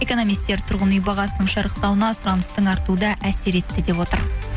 экономистер тұрғын үй бағасының шарықтауына сұраныстың артуы да әсер етті деп отыр